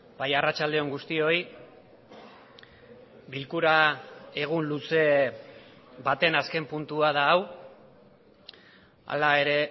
bai arratsalde on guztioi bilkura egun luze baten azken puntua da hau hala ere